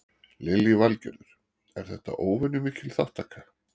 Lillý Valgerður: Er þetta óvenju mikil þátttaka?